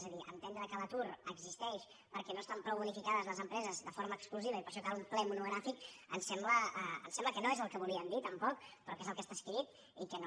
és a dir entendre que l’atur existeix perquè no estan prou bonificades les empreses de forma exclusiva i per això cal un ple monogràfic em sembla que no és el que volien dir tampoc però que és el que està escrit i que no